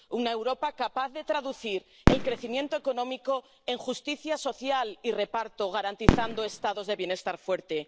Una Europa capaz de traducir el crecimiento económico en justicia social y reparto, garantizando Estados de bienestar fuertes.